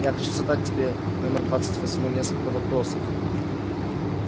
я хочу задать тебе номер двадцать восьмой несколько вопросов